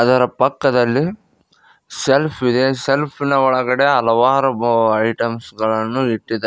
ಇದರ ಪಕ್ಕದಲ್ಲಿ ಸೆಲ್ಫ್ ಇದೆ ಸೆಲ್ಫ್ ನ ಒಳಗಡೆ ಹಲವಾರು ಐಟಮ್ಸ್ ಗಳನ್ನು ಇಟ್ಟಿದ್ದಾರೆ.